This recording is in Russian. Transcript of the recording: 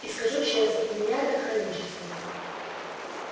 и скажу честно у меня это хроническое